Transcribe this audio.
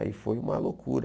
Aí foi uma loucura.